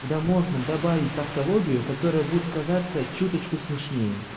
да можно добавить тавтологию которая будет казаться чуточку смешные